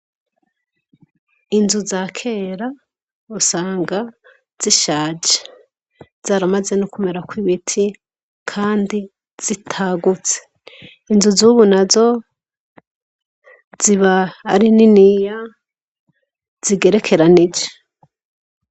Inzu za kera usanga zishaje zaramaze no kumera ko ibiti, kandi zitagutse inzu zubu na zo ziba ari niniya zigerekeranije.